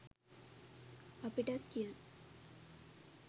අපිටත් කියන්න